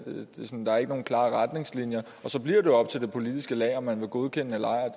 er ikke nogen klare retningslinjer og så bliver det jo op til det politiske lag om man vil godkende eller ej og